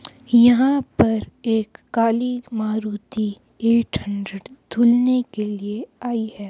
यहां पर एक काली मारुति एट हंड्रेड धुलने के लिए आई है।